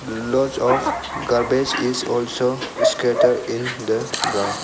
Lots of garbage is also scatter in the ground.